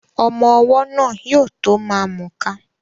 Ọmọ́ ọwọ́ náà yóò tó ma mùka